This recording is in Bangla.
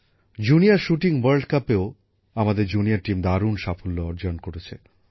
জুনিয়র শুটিং ওয়ার্ল্ড কাপেও আমাদের জুনিয়র টিম দারুণ সাফল্য অর্জন করেছে